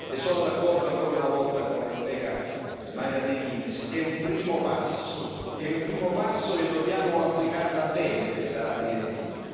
Sono d'accordo, ancora una volta, con la collega Mairead McGuinness è un primo passo, è un primo passo e dobbiamo applicarla bene, questa direttiva.